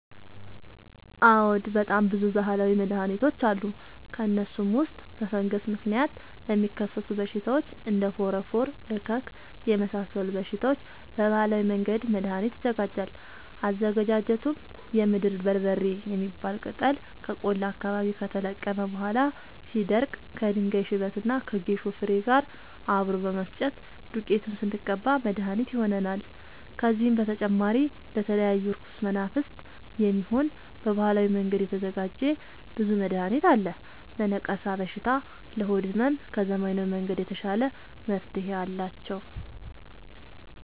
አዎድ በጣም ብዙ በሀላዊ መድሀኒቶች አሉ ከእነሱም ውስጥ በፈንገስ ምክንያት ለሚከሰቱ በሽታዎች እንደ ፎረፎር እከክ የመሳሰሉ በሽታዎች በባህላዊ መንገድ መድሀኒት ይዘጋጃል አዘገጃጀቱም የምድር በርበሬ የሚባል ቅጠል ከቆላ አካባቢ ከተለቀመ በኋላ ሲደርዳ ከድንጋይ ሽበት እና ከጌሾ ፋሬ ጋር አብሮ በመፈጨት ዱቄቱን ስንቀባ መድሀኒት መድሀኒት ይሆነናል። ከዚህም በተጨማሪ ለተለያዩ እርኩስ መናፍት፣ የሚሆን በባህላዊ መንገድ የተዘጋጀ ብዙ መድሀኒት አለ። ለነቀርሻ በሽታ ለሆድ ህመም ከዘመናዊ መንገድ የተሻለ መፍትሄ አላቸው።